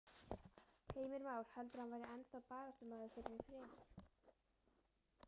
Heimir Már: Heldurðu að hann væri ennþá baráttumaður fyrir friði?